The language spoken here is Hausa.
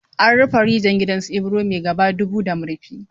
An rufe rijiyar gidan su Ibro mai gaba dubu da murfi.